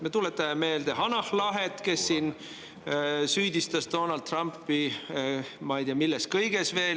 Me tuletame meelde Hanah Lahet, kes siin süüdistas Donald Trumpi milles iganes.